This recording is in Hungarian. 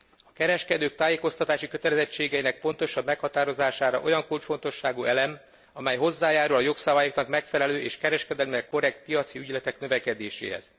A kereskedők tájékoztatási kötelezettségeinek pontosabb meghatározása olyan kulcsfontosságú elem, amely hozzájárul a jogszabályoknak megfelelő és kereskedelemnek korrekt piaci ügyletek növekedéséhez.